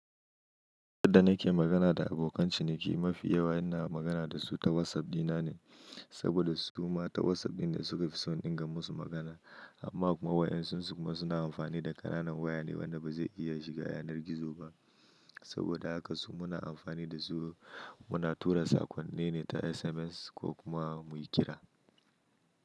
Yadda nake magana da abokan ciniki, mafi yawa ina magana da su ta WhatsApp dina ne saboda su ma ta WhatsApp ɗin ne suka fi so in ga musu magana. Amma kuma wayansun su kuma suna amfani da ƙananan waya ne wanda ba zai iya shiga yanar gizo ba. Saboda haka su muna amfani da su muna tura saƙonnin ne ta SMS ko kuma mu yi kira.